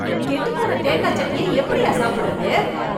கெட்டு போன தேங்காய் சட்னிய எப்படியா சாப்பிடறது?